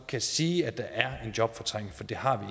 kan sige at der er en jobfortrængning for det har